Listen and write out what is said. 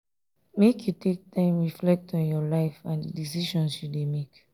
make you take time reflect on your life and di decisions you dey make.